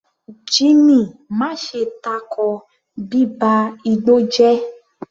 Jimmy, má ṣe tako bíba igbó jẹ́!